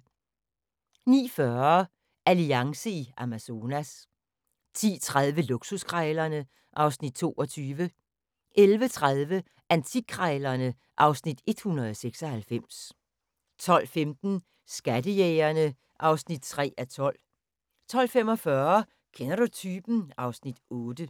09:40: Alliance i Amazonas 10:30: Luksuskrejlerne (Afs. 22) 11:30: Antikkrejlerne (Afs. 196) 12:15: Skattejægerene (3:12) 12:45: Kender du typen? (Afs. 8)